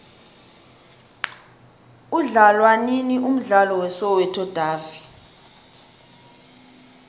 udlalwanini umdlalo we soweto davi